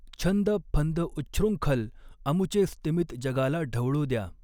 छंद फंद उच्छृंखल अमुचे स्तिमित जगाला ढवळू द्या